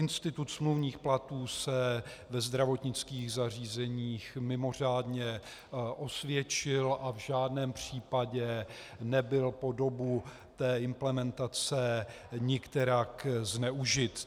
Institut smluvních platů se ve zdravotnických zařízeních mimořádně osvědčil a v žádném případě nebyl po dobu té implementace nikterak zneužit.